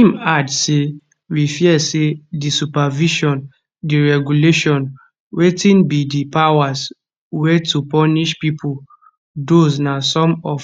im add say we fear say di supervision di regulation wetin be di powers wey to punish pipo those na some of